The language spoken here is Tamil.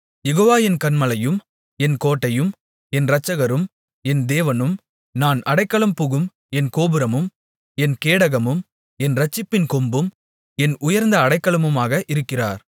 யெகோவா என் கன்மலையும் என் கோட்டையும் என் இரட்சகரும் என் தேவனும் நான் அடைக்கலம் புகும் என் கோபுரமும் என் கேடகமும் என் இரட்சிப்பின் கொம்பும் என் உயர்ந்த அடைக்கலமுமாக இருக்கிறார்